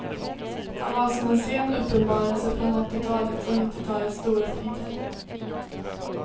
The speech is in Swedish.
Han var som en sen uppenbarelse från åttiotalets och nittiotalets stora tider.